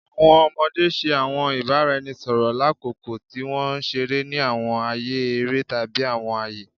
Awọn ọmọde ṣe awọn ibaraẹnisọrọ lakoko ti wọn nṣere ni awọn aaye ere tabi awọn aaye